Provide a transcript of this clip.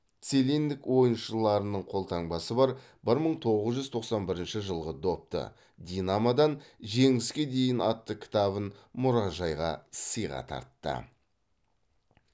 целинник ойыншыларының қолтаңбасы бар бір мың тоғыз жүз тоқсан бірінші жылғы допты динамодан жеңіске дейін атты кітабын мұражайға сыйға тартты